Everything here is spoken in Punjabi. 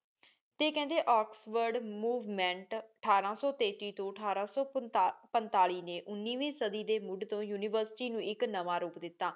ਤੇ ਕਹਿਦੇ ਓਕ੍ਸ੍ਫੋਰਡ ਮੋਵੇਮੇੰਟ ਅਧਰ ਸੋ ਤੇਤੀ ਤੋ ਅਠਾਰਾ ਸੋ ਪੰਤਾਲੀ ਨੀ ਉਨੀਵੀ ਸਾਡੀ ਡੀ ਮੁੜ੍ਹ ਤੋ ਉਨਿਵੇਰ੍ਸਿਟੀ ਨੂ ਇਕ ਨਾਵਾ ਰੂਪ ਦਿਤਾ